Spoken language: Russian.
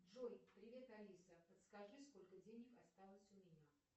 джой привет алиса подскажи сколько денег осталось у меня